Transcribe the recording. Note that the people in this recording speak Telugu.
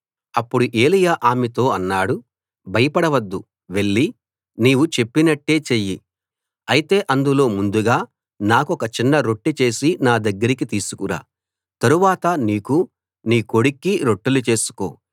అప్పుడు ఏలీయా ఆమెతో అన్నాడు భయపడవద్దు వెళ్లి నీవు చెప్పినట్టే చెయ్యి అయితే అందులో ముందుగా నాకొక చిన్న రొట్టె చేసి నా దగ్గరికి తీసుకురా తరువాత నీకూ నీ కొడుక్కీ రొట్టెలు చేసుకో